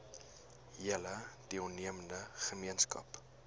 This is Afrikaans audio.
hele deelnemende gemeenskap